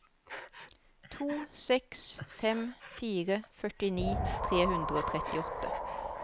to seks fem fire førtini tre hundre og trettiåtte